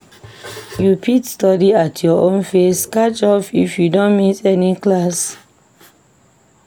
You fit study at your own pace catch up if you don miss any class.